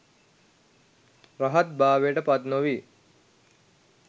රහත් භාවයට පත් නොවී